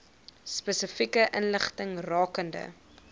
spesifieke inligting rakende